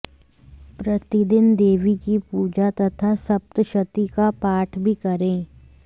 प्रतिदिन देवी की पूजा तथा सप्तशती का पाठ भी करे